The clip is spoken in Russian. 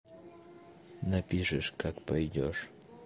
напишешь как пойдёшь